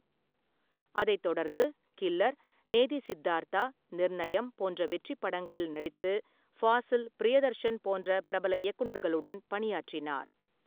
அதைத் தொடர்ந்து கில்லர், நேதி சித்தார்த்தா, நிர்நயம் போன்ற வெற்றிப் படங்களில் நடித்து, ஃபாசில், பிரியதர்ஷன் போன்ற பிரபல இயக்குனர்களுடன் பணியாற்றினார்.